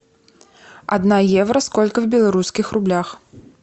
одна евро сколько в белорусских рублях